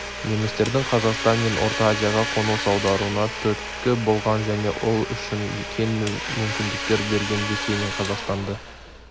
немістердің қазақстан мен орта азияға қоныс аударуына түрткі болған және ол үшін кең мүмкіндіктер берген ресей мен қазақстанды